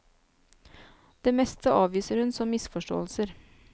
Det meste avviser hun som misforståelser.